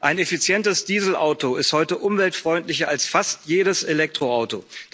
Ein effizientes Dieselauto ist heute umweltfreundlicher als fast jedes Elektroauto.